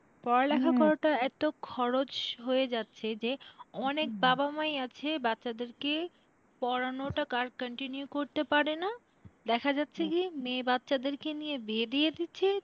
করাটা এত খরচ হয়ে যাচ্ছে যে অনেক বাবা মাই আছে বাচ্চাদেরকে পড়ানোটা আর continue করতে পারে না দেখা যাচ্ছে কি মেয়ে বাচ্চাদের কে নিয়ে বিয়ে দিয়ে দিচ্ছে,